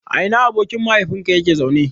A ina abokin mahaifinka yake zaune?